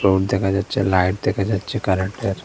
Road দেখা যাচ্ছে light দেখা যাচ্ছে কারেন্টের।